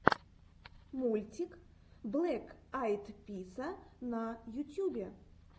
мультик блэк айд писа на ютьюбе